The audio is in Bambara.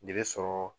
Ne bɛ sɔrɔ